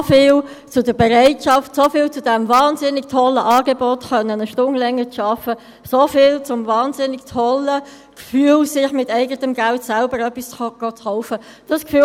So viel zur Bereitschaft, so viel zu diesem wahnsinnig tollen Angebot, eine Stunde länger arbeiten zu können, so viel zum wahnsinnig tollen Gefühl, sich mit eigenem Geld selbst etwas kaufen zu gehen.